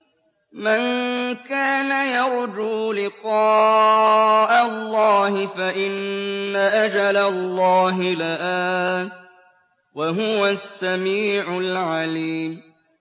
مَن كَانَ يَرْجُو لِقَاءَ اللَّهِ فَإِنَّ أَجَلَ اللَّهِ لَآتٍ ۚ وَهُوَ السَّمِيعُ الْعَلِيمُ